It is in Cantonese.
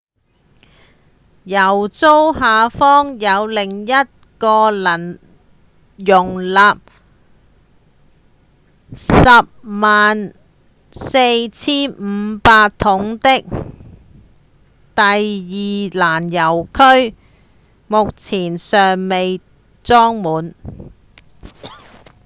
油槽下方有另一個能容納 104,500 桶的第二攔油區目前尚未裝滿